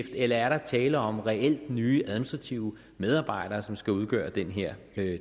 eller er der tale om reelt nye administrative medarbejdere som skal udgøre den her